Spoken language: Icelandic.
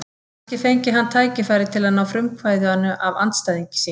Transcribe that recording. Kannski fengi hann tækifæri til að ná frumkvæðinu af andstæðingi sínum.